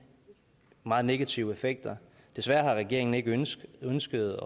meget negative effekter desværre har regeringen ikke ønsket ønsket